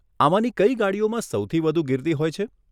આમાંની કઈ ગાડીઓમાં સૌથી વધુ ગીર્દી હોય છે?